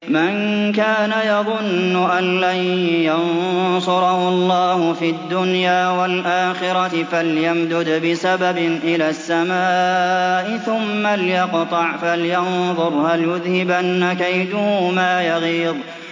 مَن كَانَ يَظُنُّ أَن لَّن يَنصُرَهُ اللَّهُ فِي الدُّنْيَا وَالْآخِرَةِ فَلْيَمْدُدْ بِسَبَبٍ إِلَى السَّمَاءِ ثُمَّ لْيَقْطَعْ فَلْيَنظُرْ هَلْ يُذْهِبَنَّ كَيْدُهُ مَا يَغِيظُ